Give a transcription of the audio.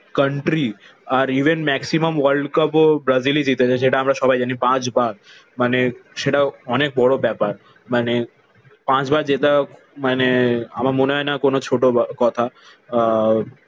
Country. আর Even maximum world cup ও ব্রাজিলই জিতেছে সেটা আমরা সবাই জানি পাঁচবার। মানে সেটা অনেক বড় ব্যাপার। মানে পাঁচবার জেতা মানে আমার মনে হয় না কোন ছোট কথা। আহ